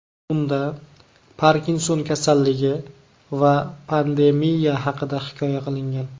Unda Parkinson kasalligi va pandemiya haqida hikoya qilingan.